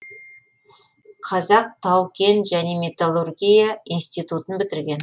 қазақ тау кен және металлургия ин тын бітірген